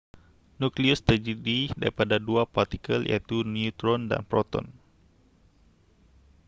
nukleus terdiri daripada dua partikel iaitu neutron dan proton